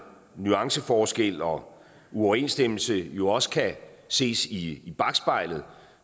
nuanceforskel og uoverensstemmelse jo også kan ses i bakspejlet